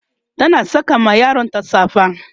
tana Saka ma yaronta safa